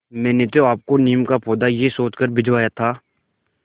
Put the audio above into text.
मैंने तो आपको नीम का पौधा यह सोचकर भिजवाया था